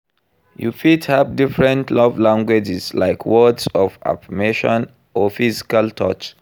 You fit have different love languages, like words of affirmation or physical touch.